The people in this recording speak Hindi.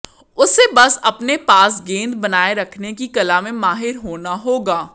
उसे बस अपने पास गेंद बनाए रखने की कला में माहिर होना होगा